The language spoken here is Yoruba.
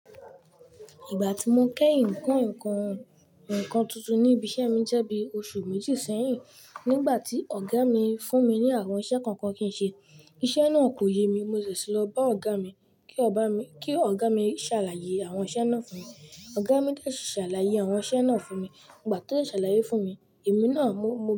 Ìgbà tí mo kẹ́yin ko ekọ́ nǹkan tuntun ní ibi iṣẹ́ mi jẹ́ bí oṣù méjì sẹ́yìn, nígbà tí ọ̀gá mi fún mi ní àwọn iṣẹ́ kọ̀ọ̀kan kí n ṣe. Iṣẹ́ náà kò yé mi, mo ṣẹ̀ṣe lọ bá ọ̀gá mi kí ọ̀gá mi ṣàlàyé àwọn iṣẹ́ náà fún mi. Ọ̀gá mi dẹ̀ ṣì ṣàlàyé àwọn iṣẹ́ náà fún mi. Ìgbà tó ṣàlàyé fún mi, èmi náà mó.